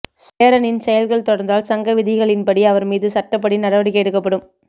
சேரனின் செயல்கள் தொடர்ந்தால் சங்க விதிகளின்படி அவர் மீது சட்டப்படி நடவடிக்கை எடுக்கப்படும்